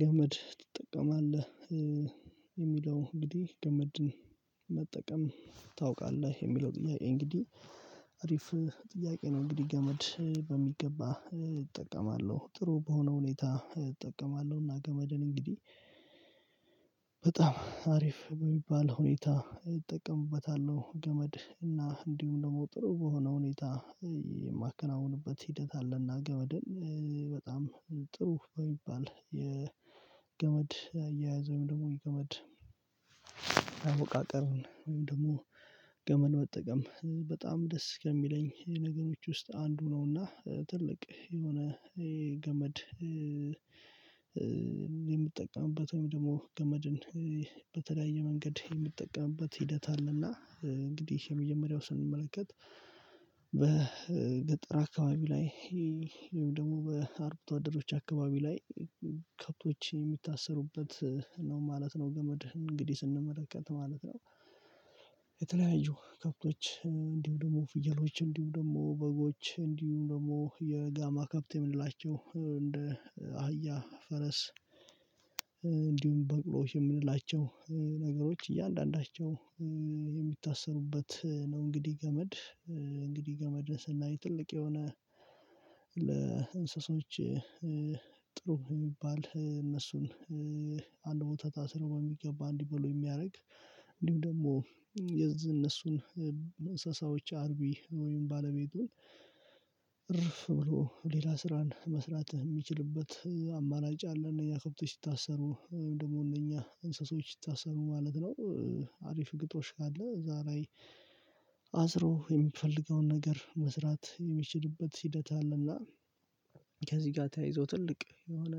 ገመድ ትጠቀማለህ የሚለው እንግዲህ ገመድን መጠቀም ታውቃለህ? የሚለው ጥያቄ እንግዲህ አሪፍ ጥያቄ ነው እንግዲህ ገመድ በሚገባ እጠቀማለሁ ጥሩ በሆነ ሁኔታ እጠቀማለሁ እና እንግዲህ በጣም አሪፍ በሚባል ሁኔታ እጠቀምበታለሁ ገመድ እና እንዲሁም ደግሞ ጥሩ በሆነ ሁኔታ የማከናውንበት ሂደት አለና ገመድን በጣም ጥሩ በሚባል የገመድ አያያዝ ወይም ደግሞ የገመድ አወቃቀር ወይም ደግሞ ገመድ መጠቀም በጣም ደስ ከሚለኝ ነገሮች ውስጥ አንዱ ነውና ትልቅ የሆነ የገመድ የምጠቀምበት ወይም ደግሞ ገመድን በተለያየ መንገድ የምትጠቀምበት ሂደት አለና እንግዲህ የመጀመሪያው ስንመለከት አካባቢ ላይ ይሄን ደግሞ በአርብቶ አደሮች አካባቢ ላይ ከብቶች የሚታሰሩበት ነው ማለት ነው ገመድ እንግዲህ ስንመለከት ማለት ነው የተለያዩ ከብቶች እንዲሁ ደግሞ ፍየሎች እንዲሁ ደግሞ በጎች እንዲሁ ደግሞ የጋማ ከብት የምንላቸው እንደ አህያ ፈረስ እንዲሁም በቅሎዎች የምንላቸው ነገሮች እያንዳንዳቸው የሚታሰሩበት ነው እንግዲህ ገመድ እንግዲህ ገመድን ስናይ ትልቅ የሆነ ለእንስሶች ጥሩ የሚባል እነሱን አንድ ቦታ ታስረው በሚገባ እንዲበሉ የሚያደርግ እንዲህም ደግሞ የዚህ እነሱን እንሳሳዎች አርቢ ወይም ባለቤቱን እርፍ ብሎ ሌላ ስራን መስራት የሚችልበት አማራጭ አለ እነዚያ ከብቶች ሲታሰሩ ወይም ደግሞ እነኛ እንስሶች ሲታሰሩ ማለት ነው አሪፍ ግጦሽ ካለ እዚያ ላይ አስሮ የሚፈልገውን ነገር መስራት የሚችልበት ሂደት አለና ከዚህ ጋር ተያይዞ ትልቅ የሆነ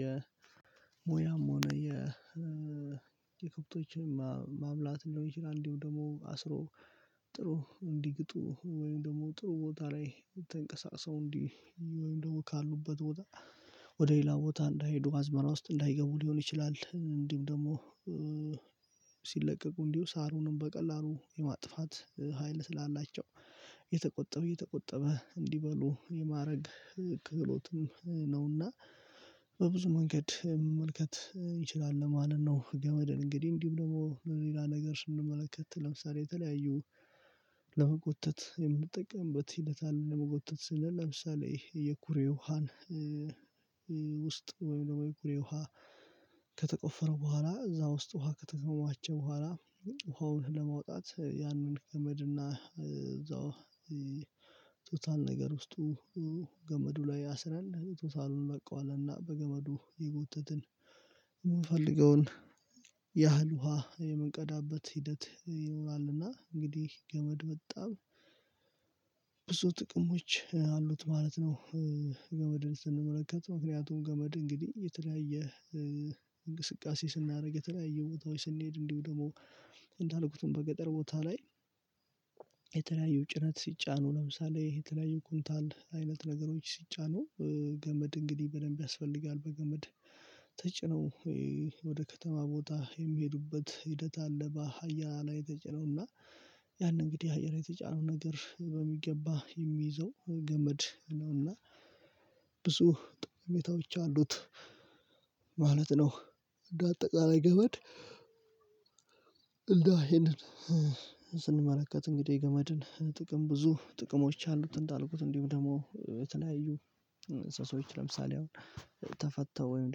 የሞያም ሆነ የ የከብቶችን ማብላት እንደሆነ ይችላል እንዲሁ ደግሞ አስሮ ጥሩ እንዲግጡ ወይም ደግሞ ጥሩ ቦታ ላይ ተንቀሳቅሰው እንዲህ ወይም ደግሞ ካሉበት ወደ ሌላ ቦታ እንዳይሄዱ አዝመራ ውስጥ እንዳይገቡ ሊሆን ይችላል እንዲህም ደግሞ እንዲሁ ሳሩንም በቀላሉ የማጥፋት ሀይል ስላላቸው የተቆጠበ የተቆጠበ እንዲበሉ የማድረግ ክህሎትም ነውና በብዙ መንገድ መመልከት እንችላለን ማለት ነው ገመድ እንግዲህ እንዲሁም ደግሞ ለሌላ ነገር ስንመለከት ለምሳሌ የተለያዩ ለመጎተት የምንጠቀምበት ሂደት አለ ለመጎተት ስል ለምሳሌ የኩሬ ውሃን ውስጥ ወይ ወይ ውሃ ከተቆፈረ በኋላ እዛ ውስጥ ውሃ ከተከማቸ በኋላ ውሃውን ለማውጣት ያንን ገመድና እዛው ቱታን ነገር ውስጡ ገመዱ ላይ አስረን ቶታሉን እንለቀዋለን በገመዱ እየጎተትን የምንፈልገውን ያህል ውሃ የምንቀዳበት ሂደት ይሆናልና እንግዲህ ገመድ በጣም ብዙ ጥቅሞች አሉት ማለት ነው ገመድን ስንመለከት ምክንያቱም ገመድ እንግዲህ የተለያየ እንቅስቃሴ ስናደርግ የተለያየ ቦታዎች ስንሄድ እንዲሁ ደግሞ እንዳልኩትም በገጠር ቦታ ላይ የተለያዩ ጭነት ሲጫኑ ለምሳሌ ይሄ የተለያዩ ኩንታል አይነት ነገሮች ሲጫኑ ገመድ እንግዲህ በደንብ ያስፈልጋል በገመድ ተጭነው ወደ ከተማ ቦታ የሚሄዱበት ሂደት አለ ሀያል ላይ ተጭነውና ያንን እንግዲህ አየር የተጫነው ነገር በሚገባ የሚይዘው ገመድ ነውና ብዙ ጠቀሜታ ብቻ አሉት ማለት ነው እንደ አጠቃላይ ገመድ ይሄንን ስንመለከት እንግዲህ የገመድን ጥቅም ብዙ ጥቅሞች አሉት እንዳልኩት እንዲሁም ደግሞ የተለያዩ ሰዎች ለምሳሌ አሁን ተፈተው ወይም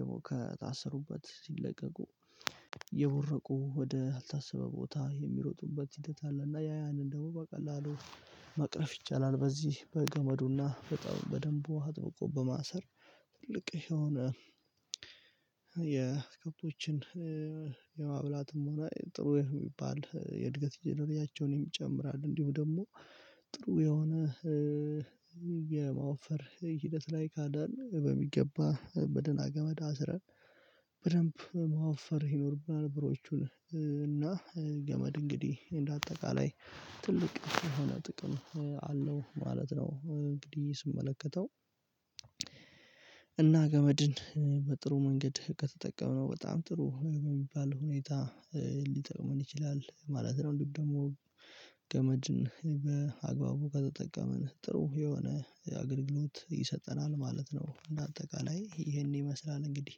ደግሞ ከታሰሩበት ሲለቀቁ የቦረቁ ወደ አልታሰበ ቦታ የሚሮጡበት ሂደት አለ እና ያ ያንን ደግሞ በቀላሉ መቅረፍ ይቻላል በዚህ በገመዱና በጣም በደንቡ አጥብቆ በማሰር ትልቅ የሆነ የከፎችን የማብላትም ሆነ ጥሩ የሚባል የእድገት እድሜያቸውን ይጨምራል እንዲሁ ደግሞ ጥሩ የሆነ የማወፈር ሂደት ላይ ካዳን በሚገባ በደና ገመድ አስረን ማወፈር ይኖርብናል ብሮቹን እና ገመድ እንግዲህ እንደ አጠቃላይ ትልቅ የሆነ ጥቅም አለው ማለት ነው እንግዲህ ስመለከተው እና ገመድን በጥሩ መንገድ ከተጠቀምን በጣም ጥሩ የሚባል ሁኔታ ሊጠቅመን ይችላል ማለት ነው እንዲህ ደግሞ ገመጅን በአግባቡ ከተጠቀመን ጥሩ የሆነ አገልግሎት ይሰጠናል ማለት ነው በአጠቃላይ ይሄን ይመስላል እንግዲህ